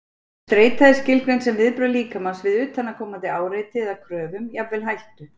Streita er skilgreind sem viðbrögð líkamans við utanaðkomandi áreiti eða kröfum, jafnvel hættu.